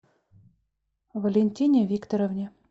валентине викторовне